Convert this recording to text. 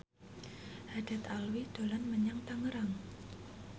Haddad Alwi dolan menyang Tangerang